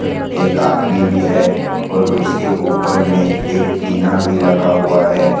एक आदमी भी है और उसके ऊपर में एक टीना भी लगा हुआ है।